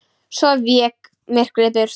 Svo vék myrkrið burt.